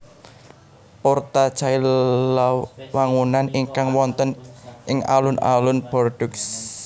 Porte Cailhau wangunan ingkang wonten ing alun alun Bordeaux